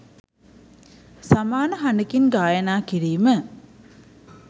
සමාන හඬකින් ගායනය කිරීම